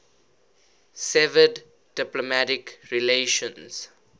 severed diplomatic relations